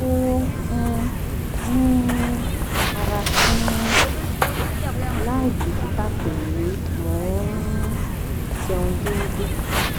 mo um ni ara tinrin laibikita pe mo n um jẹun déédé